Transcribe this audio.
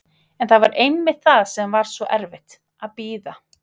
En það var einmitt það sem var svo erfitt, að bíða.